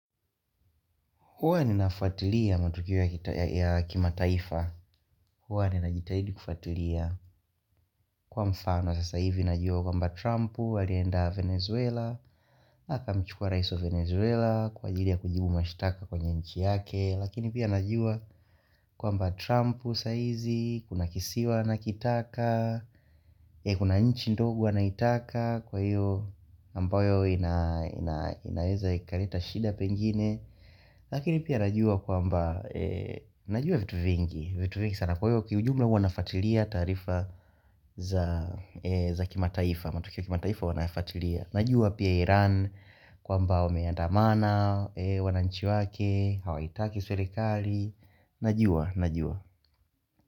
Huwa ninafuatilia matukio ya kimataifa huwa ninajitahidi kufatilia Kwa mfano sasa hivi najua kuwamba Trump Walienda Venezuela akamchukua raiso Venezuela Kwa ajili ya kujibu mashitaka kwenye nchi yake Lakini pia najua kumba Trump saizi Kuna kisiwa na akitaka Kuna nchi ndogo anaitaka Kwa hiyo ambayo inaweza ikaleta shida pengine Lakini pia najua kumba Najua vitu vingi vitu vingi sana kuyo kiujumla huwanafuatilia tarifa za kimataifa matukio kimataifa wanafuatilia Najua pia Iran kwamba wameandamana wananchi wake, hawaitaki serikali Najua, najua.